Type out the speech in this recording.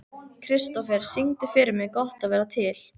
Kristofer, syngdu fyrir mig „Gott að vera til“.